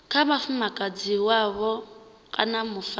kha mufumakadzi wavho kana mufarisi